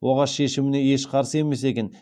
оғаш шешіміне еш қарсы емес екен